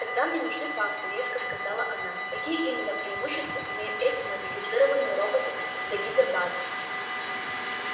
тогда мне нужны факты резко сказала она какие именно преимущества имеют эти модифицированные роботы для гипербазы